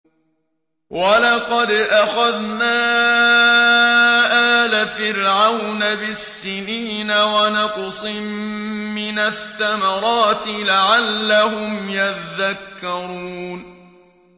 وَلَقَدْ أَخَذْنَا آلَ فِرْعَوْنَ بِالسِّنِينَ وَنَقْصٍ مِّنَ الثَّمَرَاتِ لَعَلَّهُمْ يَذَّكَّرُونَ